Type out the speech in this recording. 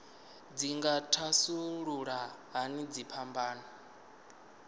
dzi nga thasulula hani dziphambano